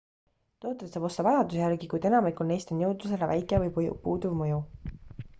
tooteid saab osta vajaduse järgi kuid enamikul neist on jõudlusele väike või puuduv mõju